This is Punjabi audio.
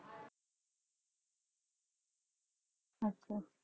ਅੱਛਾ